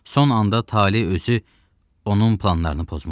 Son anda tale özü onun planlarını pozmuşdu.